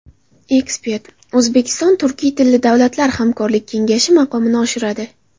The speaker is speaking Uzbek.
Ekspert: O‘zbekiston Turkiy tilli davlatlar hamkorlik kengashi maqomini oshiradi.